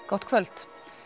gott kvöld